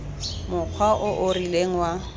mokgwa o o rileng wa